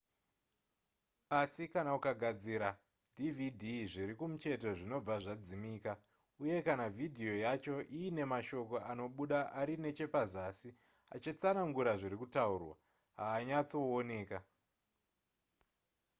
asi kana ukagadzira dvd zviri kumucheto zvinobva zvadzimika uye kana vhidhiyo yacho iine mashoko anobuda ari nechepazasi achitsanangura zviri kutaurwa haazonyatsooneka